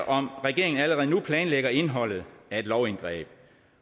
om regeringen allerede nu planlægger indholdet af et lovindgreb